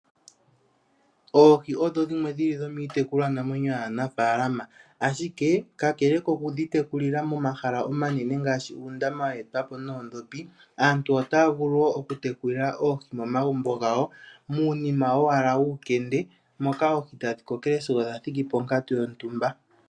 Oohi odhimwe dhomiitekulwa namwenyo yanafaalama, ka kele okudhi tekulila momahala omanene ngika geetwapo noondhopi aantu otaya vulu wo okutekulila oohi momagumbo gawo muukende uushona moka oohi tadhi kokele sigo dha thiki ponkatu yontumba.